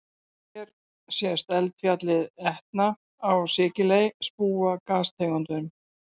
Hér sést eldfjallið Etna á Sikiley spúa gastegundum.